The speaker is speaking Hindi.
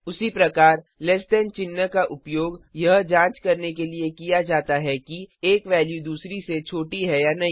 उसी प्रकार लैस दैन चिन्ह का उपयोग यह जांच करने के लिए किया जाता है कि एक वैल्यू दूसरे से छोटी है या नहीं